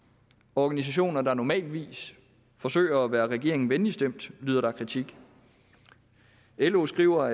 organisationer der normalt forsøger at være regeringen venligt stemt lyder der kritik lo skriver